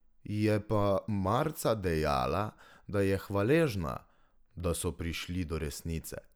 Je pa marca dejala, da je hvaležna, da so prišli do resnice.